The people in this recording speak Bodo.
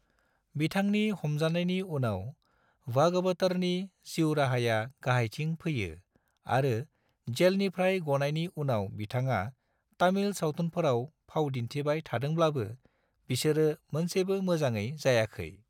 बिथांनि हमजानायनि उनाव भागवतरनि जिउ राहाया गाहायथिं फैयो आरो जेलनिफ्राय ग'नायनि उनाव बिथाङा तमिल सावथुनफोराव फावदिन्थिबाय थादोंब्लाबो, बिसोरो मोनसेबो मोजाङै जायाखै।